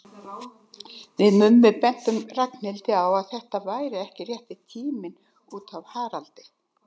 Við Mummi bentum Ragnhildi á að þetta væri ekki rétti tíminn út af Haraldi.